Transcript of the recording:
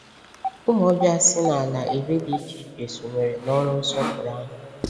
Ụmụ ọbịa si n’ala iri dị iche iche sonyere n’ọrụ nsọpụrụ ahụ.